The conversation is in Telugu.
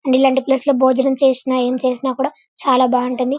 అండ్ ఇలాంటి ప్లేస్ లో భోజనం చేసిన ఏం చేసిన కూడా చాలా బాగుంటుండి --